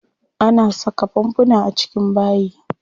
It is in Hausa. Ana saka fanfuna a cikin bayi.